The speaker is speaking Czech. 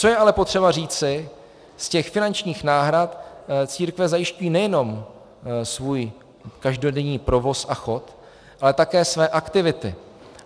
Co je ale potřeba říci, z těch finančních náhrad církve zajišťují nejenom svůj každodenní provoz a chod, ale také své aktivity.